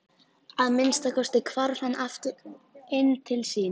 Að minnsta kosti hvarf hann aftur inn til sín.